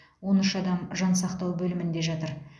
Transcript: он үш адам жансақтау бөлімінде жатыр